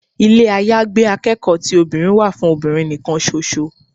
Ilé àyágbé akẹ́kọ̀ọ́ ti obìnrin wà fún obìnrin nì kan ṣo ṣo.